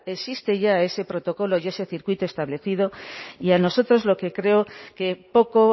existe ya ese protocolo y ese circuito establecido y a nosotros lo que creo que poco